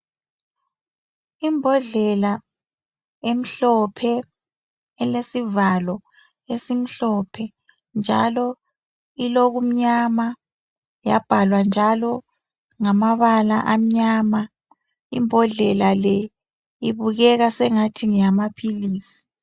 Imbodlela emhlophe, elisivalo esimhlophe njalo ilokumnyama .Yabhalwa njalo ngamabala amnyama. Imbodlela le ibukeka sengathi ngeyama philisi.